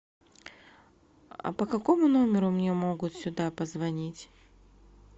а по какому номеру мне могут сюда позвонить